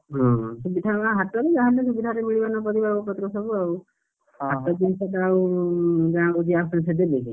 ଯେମତି ହାଟରୁ ସୁବିଧାରେ ମିଳିବ ନା ପରିବା ପତ୍ର ସବୁ ଆଉ, ହାଟ ଜିନିଷ ଯାହା ଆଉ ଗାଁକୁ ଯିଏ ଆସୁଛନ୍ତି ସିଏ ଦେବେ କି?